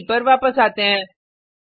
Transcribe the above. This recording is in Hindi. इडे पर वापस आते हैं